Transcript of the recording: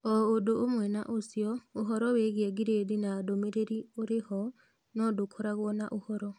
O ũndũ ũmwe na ũcio, ũhoro wĩgiĩ gradi na ndũmĩrĩri ũrĩ ho, no ndũkoragwo na ũhoro.